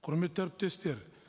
құрметті әріптестер